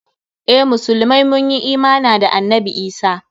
Eh, musulmai mun yi imana da annabi Isah.